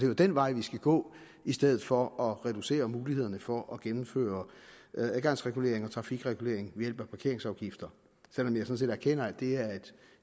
jo den vej vi skal gå i stedet for at reducere mulighederne for at gennemføre adgangsregulering og trafikregulering ved hjælp af parkeringsafgifter selv om jeg sådan set erkender at det